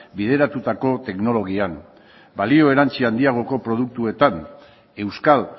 bideratutako teknologian balio erantzi handiagoko produktuetan euskal